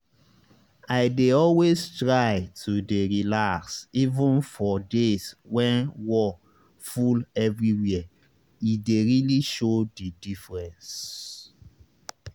i dey always try to dey relax even for days when wor full everywhere e dey really show the diffrence